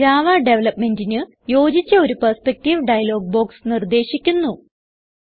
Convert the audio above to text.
Java ഡെവലപ്പ്മെന്റിന് യോജിച്ച ഒരു പെർസ്പെക്ടീവ് ഡയലോഗ് ബോക്സ് നിർദ്ദേശിക്കുന്നു